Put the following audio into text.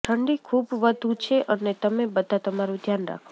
ઠંડી ખૂબ વધુ છે અને તમે બધા તમારું ધ્યાન રાખો